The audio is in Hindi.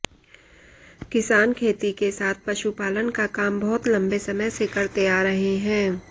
किसान खेती के साथ पशुपालन का काम बहुत लंबे समय से करते आ रहे है